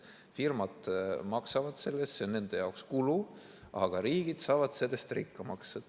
Firmad maksavad selle eest, see on nende jaoks kulu, aga riigid saavad sellest rikkamaks.